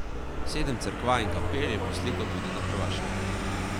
Sedem cerkva in kapel je poslikal tudi na Hrvaškem.